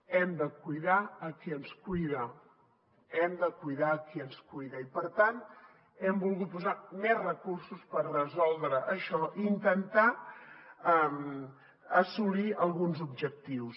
hem de cuidar a qui ens cuida hem de cuidar a qui ens cuida i per tant hem volgut posar més recursos per resoldre això i intentar assolir alguns objectius